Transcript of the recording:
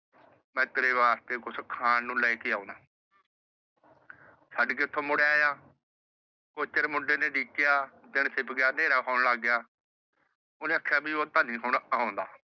ਮੈ ਤੇਰੇ ਵਾਸਤੇ ਕੁਛ ਖਾਣ ਨੂੰ ਲੈਕੇ ਆਉਣਾ। ਛੱਡ ਕੇ ਉੱਥੋਂ ਮੁੜ ਆਇਆ ਕੁਛ ਚਿਰ ਮੁੰਡੇ ਨੇ ਉਡੀਕਿਆ। ਦਿਨ ਛਿਪ ਗਿਆ ਨੇਰਾ ਹੋਣ ਲੱਗ ਪਿਆ। ਓਹਨੇ ਆਖਿਆ ਵੀ ਉਹ ਤਾਂ ਨਹੀਂ ਹੁਣ ਆਉਂਦਾ।